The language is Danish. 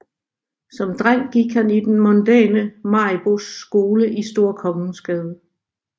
Som dreng gik han i den mondæne Mariboes Skole i Store Kongensgade